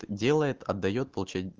делает отдаёт